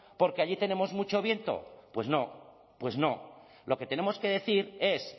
porque allí tenemos mucho viento pues no pues no lo que tenemos que decir es